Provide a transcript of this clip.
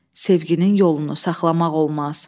Sevginin yolunu saxlamaq olmaz.